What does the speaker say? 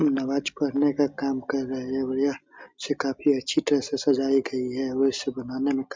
नमाज़ पढ़ने का काम कर रहे हैंऔर यह काफी अच्छी तरह से सजाई गयी है और इसे बनाने में काफी --